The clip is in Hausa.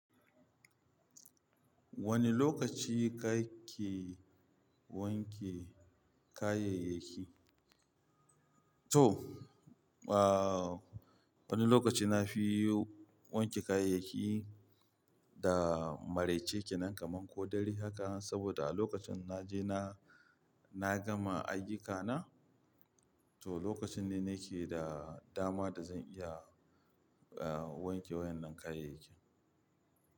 Wane lokaci kake wanke kayayyaki? To, ah wani lokaci na fi wanke kayayyaki da maraice ke nan kaman ko dare haka saboda a lokacin na je na, na gama ayyukana to lokacin ne nake da dama da zan iya ah wanke wayan nan kayayyaki.